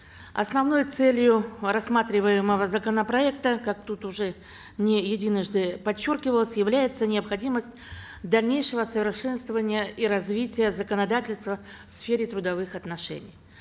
основной целью рассматриваемого законопроекта как тут уже не единожды подчеркивалось является необходимость дальнейшего совершенствования и развития законодательства в сфере трудовых отношений